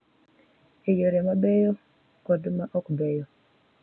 E yore ma beyo kod ma ok beyo.